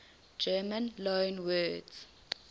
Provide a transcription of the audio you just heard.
german loanwords